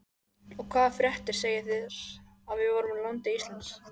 Og hvaða fréttir segið þér af voru landi Íslandi?